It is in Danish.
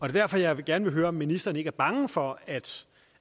er derfor jeg gerne vil høre om ministeren ikke er bange for at